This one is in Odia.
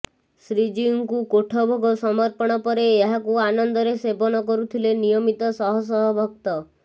ଶ୍ରୀଜୀଉଙ୍କୁ କୋଠଭୋଗ ସମର୍ପଣ ପରେ ଏହାକୁ ଆନନ୍ଦରେ ସେବନ କରୁଥିଲେ ନିୟମିତ ଶହ ଶହ ଭକ୍ତ